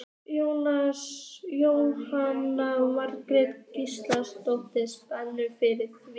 Jóhanna Margrét Gísladóttir: Spenntur fyrir því?